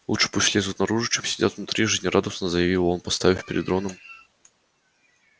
лучше пусть лезут наружу чем сидят внутри жизнерадостно заявил он поставив перед роном